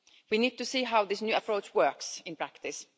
We need to see how this new approach works in practice.